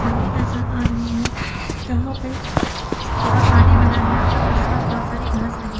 छवि नजर आ रही है जहां पे थोड़ा पानी भरा है और आस पास बहुत सारी घास लगी--